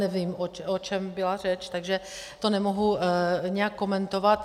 Nevím, o čem byla řeč, takže to nemohu nijak komentovat.